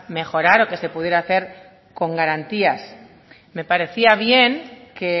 mejorar o que se pudiera hacer con garantías me parecía bien que